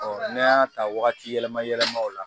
n'an y'a ta wagati yɛlɛma yɛlɛma o la